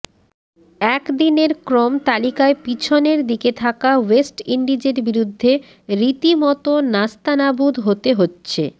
একদিনের ক্রম তালিকায় পিছনের দিকে থাকা ওয়েস্ট ইন্ডিজের বিরুদ্ধে রীতিমতো নাস্তানাবুদ হতে হচ্ছে